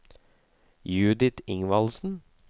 Judith Ingvaldsen